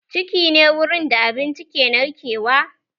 Ciki ne wurin da abinci ke narkewa